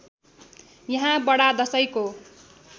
यहाँ बडा दशैँको